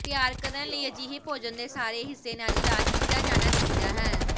ਤਿਆਰ ਕਰਨ ਲਈ ਅਜਿਹੇ ਭੋਜਨ ਦੇ ਸਾਰੇ ਹਿੱਸੇ ਨਾਲ ਇਲਾਜ ਕੀਤਾ ਜਾਣਾ ਚਾਹੀਦਾ ਹੈ